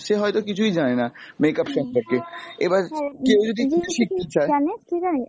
সে হয়তো কিছুই জানেনা makeup সম্পর্কে , এবার কেও যদি শিখতে চাই।